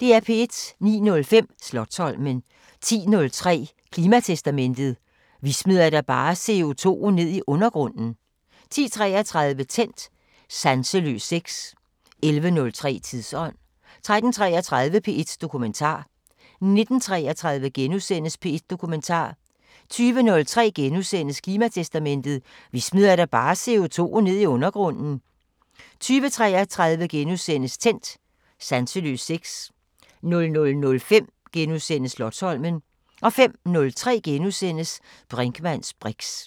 09:05: Slotsholmen 10:03: Klimatestamentet: Vi smider da bare CO2'en ned i undergrunden 10:33: Tændt: Sanseløs sex 11:03: Tidsånd 13:33: P1 Dokumentar 19:33: P1 Dokumentar * 20:03: Klimatestamentet: Vi smider da bare CO2'en ned i undergrunden * 20:33: Tændt: Sanseløs sex * 00:05: Slotsholmen * 05:03: Brinkmanns briks *